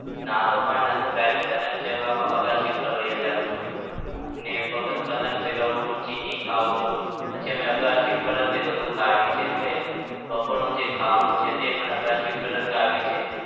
નાહતો પણ નથી હું direct પતંગ ચગાવા અગાસી પર વહ્યો જાઉં છું. અને પતંગ ચગાવું છું, ચીક્કી પણ ખાઉં છું. પછી અગાસી ઉપર જ બધું ખાઈએ છીએ. બપોરનું જે ખાવાનું છે ને એ પણ અગાસી ઉપર જ ખાઈએ છીએ.